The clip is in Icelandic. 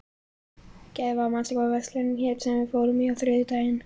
Gæfa, manstu hvað verslunin hét sem við fórum í á þriðjudaginn?